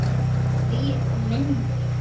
Hvílíkt minni!